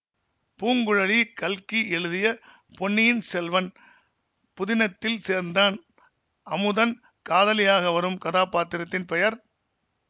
பூங்குழலி கல்கி எழுதிய பொன்னியின் செல்வன் புதினத்தில் சேர்ந்தன் அமுதன் காதலியாக வரும் கதாபாத்திரத்தின் பெயர்